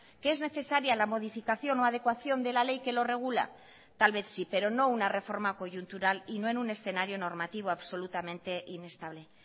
que es necesaria la modificación o adecuación de la ley que lo regula tal vez sí pero no una reforma coyuntural y no en un escenario normativo absolutamente inestable